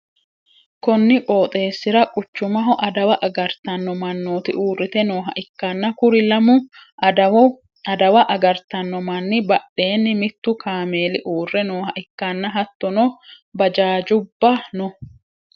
konni qooxeessira quchumaho adawa agartanno mannooti uurrite nooha ikkanna, kuri lamu adawa agartanno manni badheenni mittu kaameeli uurre nooha ikkanna, hattono bajaajjubba no.